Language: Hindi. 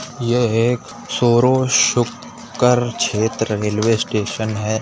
ये एक सोरो शूक्कर क्षेत्र रेलवे स्टेशन है।